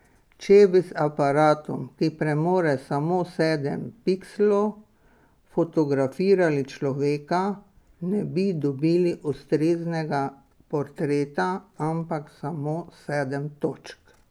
Če bi z aparatom, ki premore samo sedem pikslov, fotografirali človeka, ne bi dobili ustreznega portreta, ampak samo sedem točk.